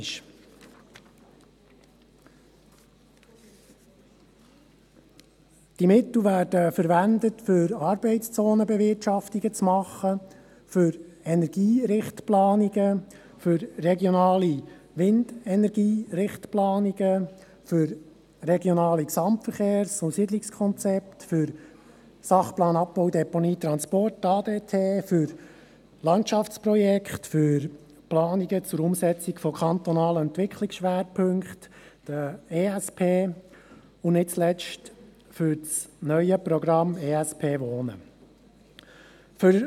Die Mittel werden für Arbeitszonenbewirtschaftungen, für Energierichtplanungen, für regionale Windenergierichtplanungen, für RGSK, für den Sachplan Abbau, Deponie, Transporte (ADT), für Planungen zur Umsetzung von kantonalen Entwicklungsschwerpunkten (ESP) und nicht zuletzt für das neue Programm «ESP Wohnen» verwendet.